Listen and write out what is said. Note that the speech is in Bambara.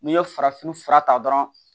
N'i ye farafin fura ta dɔrɔn